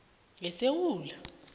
ngesewula